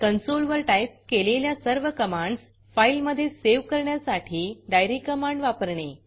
console वर type केलेल्या सर्व कमांडस फाईलमधे सेव्ह करण्यासाठी डायरी कमांड वापरणे